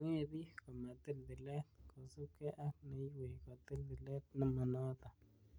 Mwee bik komatil tilet, kosiibge ak neiywei kotil tilet nemonoton.